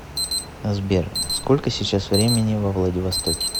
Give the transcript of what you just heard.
сбер сколько сейчас времени во владивостоке